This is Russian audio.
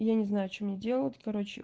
я не знаю что мне делать короче